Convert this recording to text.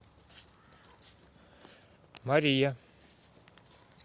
мария